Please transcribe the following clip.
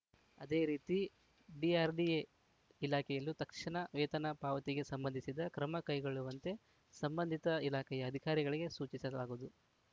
ಅದೇ ರೀತಿ ಡಿಆರ್‌ಡಿಎ ಇಲಾಖೆಯಲ್ಲೂ ತಕ್ಷಣ ವೇತನ ಪಾವತಿಗೆ ಸಂಬಂಧಿಸಿದ ಕ್ರಮ ಕೈಗೊಳ್ಳುವಂತೆ ಸಂಬಂಧಿತ ಇಲಾಖೆಯ ಅಧಿಕಾರಿಗಳಿಗೆ ಸೂಚಿಸಲಾಗುವುದು